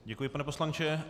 Děkuji, pane poslanče.